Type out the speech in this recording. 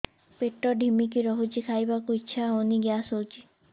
ପେଟ ଢିମିକି ରହୁଛି ଖାଇବାକୁ ଇଛା ହଉନି ଗ୍ୟାସ ହଉଚି